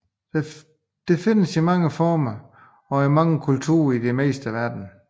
Det findes i mange former og i mange kulturer i det meste af verden